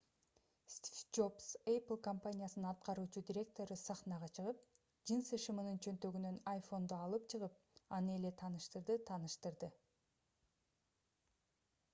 стив джобс apple компаниясынын аткаруучу директору сахнага чыгып джинсы шымынын чөнтөгүнөн iphone’ду алып чыгып аны эле тааныштырды тааныштырды